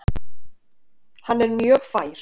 Hann er mjög fær.